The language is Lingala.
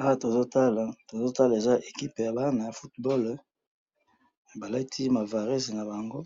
awa tozo tala to tala equipe ya bana ya football ba lati ba varesi nabango